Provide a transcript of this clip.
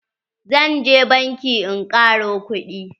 Zan je banki in ƙaro kuɗi.